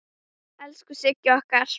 Elsku Sigga okkar.